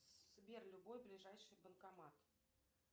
сбер любой ближайший банкомат